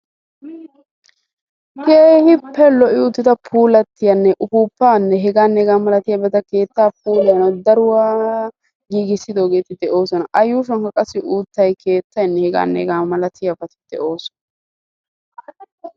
keehippe lo'i uttida puulatiyanne upuupaa hegaane hegaa malatiyabata keetta puulayanawu daruwaa giigisidoogeeti de'oosona. a yuushuwan deiyageeyi de'oosona.